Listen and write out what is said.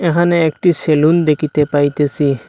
এখানে একটি সেলুন দেকিতে পাইতেসি।